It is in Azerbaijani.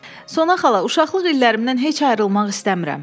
Sona xala, uşaqlıq illərimdən heç ayrılmaq istəmirəm.